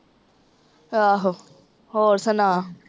ਆਹੋ, ਹੋਰ ਸੁਣਾ?